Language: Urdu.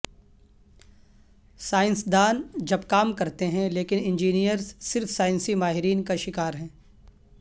سائنسدان جب کام کرتے ہیں لیکن انجینئرز صرف سائنسی ماہرین کا شکار ہیں